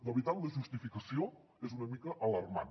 la veritat la justificació és una mica alarmant